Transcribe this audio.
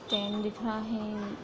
Stand दिख रहा है।